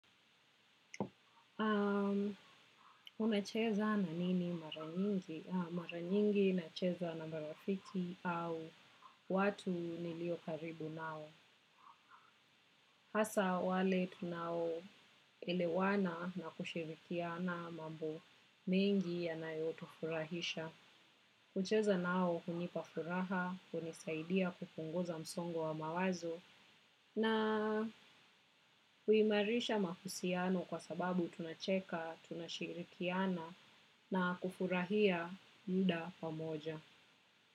Unacheza na nini mara nyingi? Mara nyingi nacheza na marafiki au watu nilio karibu nao. Hasa wale tunao elewana na kushirikiana mambo b mengi yanayotufurahisha. Kucheza nao hunipa furaha, hunisaidia kupunguza msongo wa mawazo. Na huimarisha mahusiano kwa sababu tunacheka, tunashirikiana na kufurahia muda pamoja.